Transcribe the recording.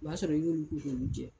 O b'a sɔrɔ n ɲ'olu ko k'olu jɛ